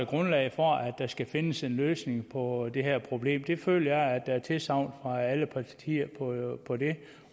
grundlag for at der skal findes en løsning på det her problem det føler jeg at der er tilsagn fra alle partier